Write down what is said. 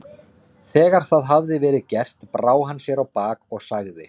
Þegar það hafði verið gert brá hann sér á bak og sagði